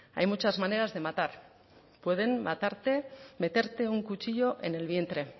hay muchas maneras de matar pueden matarte meterte un cuchillo en el vientre